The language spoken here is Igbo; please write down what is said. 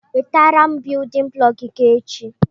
Wetara biyudin bụlọku gị echi!